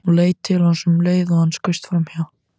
Hún leit til hans um leið og hann skaust framhjá.